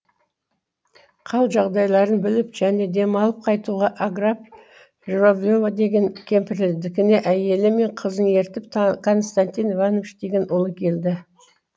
хал жағдайын біліп және демалып қайтуға агафья журавлева деген кемпірдікіне әйелі мен қызын ертіп константин иванович деген ұлы келді